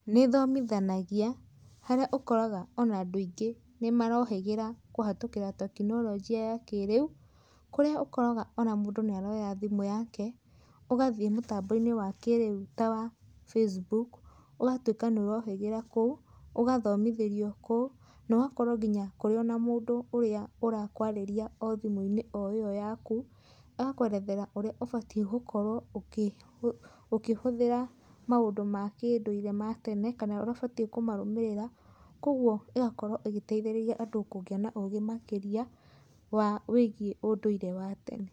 Nĩ ĩthomithanagia, harĩa ũkoraga ona andũ aingĩ nĩ marohĩgĩra kũhatũkĩra tekinoronjĩ ya kĩrĩu. Kũrĩa ũkoraga ona mũndũ nĩ aroya thimũ yake, ũgathiĩ mũtambo-inĩ wa kĩrĩu ta wa Facebook, ũgatũĩka nĩ ũrohĩgĩra kuũ, ũgathomithĩrio kuũ, na ũgakorwo nginya kũrĩ ona mũndũ ũrĩa ũrakwarĩria o thimũ-inĩ o ĩyo yaku, agakwerethera ũrĩa ũbatiĩ gũkorwo ũkĩhũthĩra maũndũ ma kĩndũire ma tene, kana ũrĩa ũbatie kũmarũmĩrira. Kogũo ĩgakorwo ĩgĩteithĩrĩria andũ kũgĩa na ũgĩ makĩria wa, wĩgiĩ ũndũire wa tene.